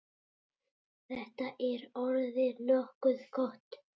Þetta er orðið nokkuð gott.